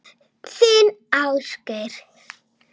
Þinn Ásgeir.